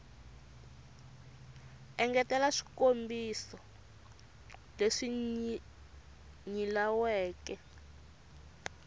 engetela eka swikombiso leswi nyilaweke